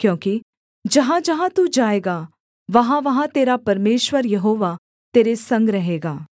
क्योंकि जहाँजहाँ तू जाएगा वहाँवहाँ तेरा परमेश्वर यहोवा तेरे संग रहेगा